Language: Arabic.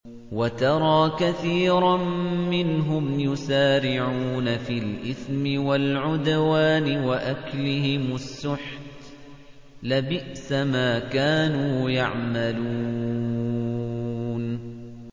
وَتَرَىٰ كَثِيرًا مِّنْهُمْ يُسَارِعُونَ فِي الْإِثْمِ وَالْعُدْوَانِ وَأَكْلِهِمُ السُّحْتَ ۚ لَبِئْسَ مَا كَانُوا يَعْمَلُونَ